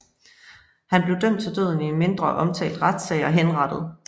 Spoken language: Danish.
Han blev dømt til døden i en mindre omtalt retssag og henrettet